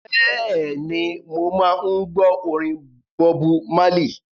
Bẹ́ẹ̀ni, mo máa ń gbọ́ orin Bọbu Málì.